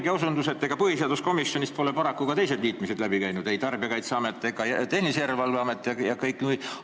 Teine osutus on see, et ega põhiseaduskomisjonist pole paraku ka teised liitmised läbi käinud, Tarbijakaitseamet, Tehnilise Järelevalve Amet ja kõik teised.